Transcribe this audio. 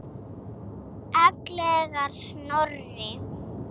Ellegar Snorri?